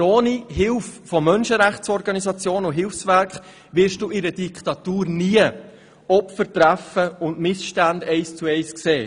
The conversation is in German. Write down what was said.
Aber ohne Hilfe von Menschenrechtsorganisationen und Hilfswerken wirst du in einer Diktatur nie Opfer treffen und Missstände eins zu eins sehen.